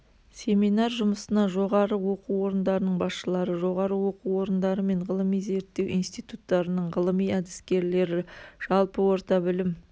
семинар жұмысына жоғары оқу орындарының басшылары жоғары оқу орындары мен ғылыми-зерттеу институттарының ғылыми-әдіскерлері жалпы орта білім